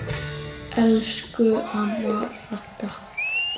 Elsku amma Ragga.